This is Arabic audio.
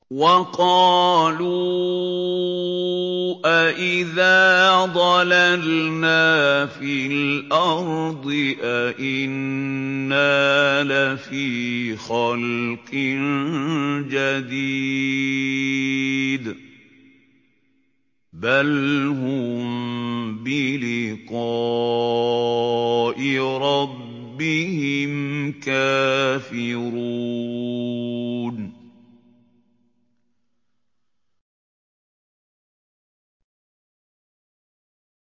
وَقَالُوا أَإِذَا ضَلَلْنَا فِي الْأَرْضِ أَإِنَّا لَفِي خَلْقٍ جَدِيدٍ ۚ بَلْ هُم بِلِقَاءِ رَبِّهِمْ كَافِرُونَ